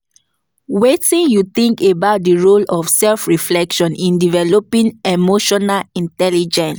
Wetin you think about di role of self-reflection in developing emotional intelligence?